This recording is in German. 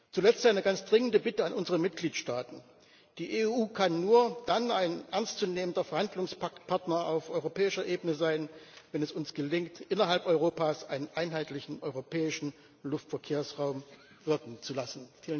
Zuletzt eine ganz dringende Bitte an unsere Mitgliedstaaten Die EU kann nur dann ein ernstzunehmender Verhandlungspartner auf europäischer Ebene sein, wenn es uns gelingt, innerhalb Europas einen einheitlichen europäischen Luftverkehrsraum wirken zu lassen.